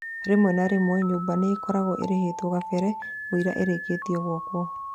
Rĩmwe na rĩmwe nyũmba nĩikoragwo irĩhĩtwo kabere mũira irĩkĩtio gwakwo